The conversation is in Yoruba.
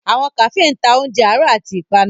Awọn Kafee ǹ ta ọunje aro ati ipanu.